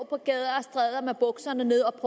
har med bukserne nede